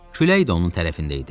Külək də onun tərəfində idi.